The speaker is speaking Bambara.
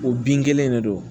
O bin kelen de don